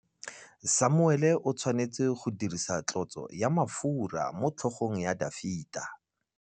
Samuele o tshwanetse go dirisa tlotsô ya mafura motlhôgong ya Dafita.